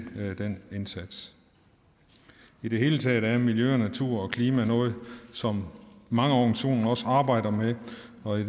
den indsats i det hele taget er miljø og natur og klima noget som mange organisationer også arbejder med og det